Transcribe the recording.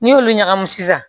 N'i y'olu ɲagami sisan